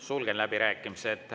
Sulgen läbirääkimised.